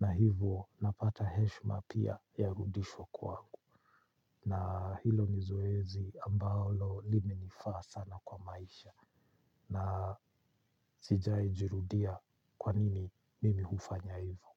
na hivo napata heshma pia ya rudishwa kwangu. Na hilo ni zoezi ambaolo limenifaa sana kwa maisha, na sijai jurudia kwa nini mimi hufanya hivo.